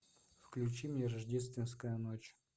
включи мне рождественская ночь